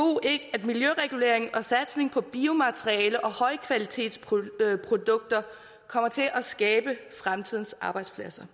at miljøregulering og satsning på biomateriale og højkvalitetsprodukter kommer til at skabe fremtidens arbejdspladser